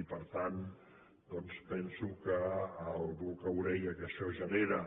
i per tant doncs penso que el boca orella que això genera